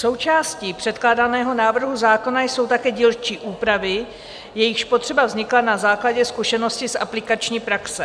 Součástí předkládaného návrhu zákona jsou také dílčí úpravy, jejichž potřeba vznikla na základě zkušeností z aplikační praxe.